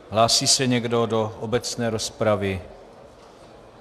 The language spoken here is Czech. Hlásí se někdo do obecné rozpravy?